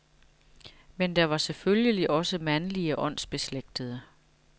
Men der var selvfølgelig også mandlige åndsbeslægtede.